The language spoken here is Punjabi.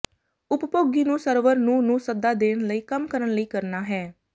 ਉਪਭੋਗੀ ਨੂੰ ਸਰਵਰ ਨੂੰ ਨੂੰ ਸੱਦਾ ਦੇਣ ਲਈ ਕੰਮ ਕਰਨ ਲਈ ਕਰਨਾ ਹੈ